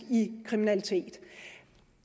i kriminalitet